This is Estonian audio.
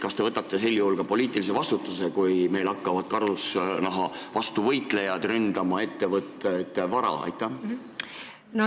Kas te võtate sel juhul ka poliitilise vastutuse, kui meil hakkavad karusnaha vastu võitlejad ettevõtjate vara ründama?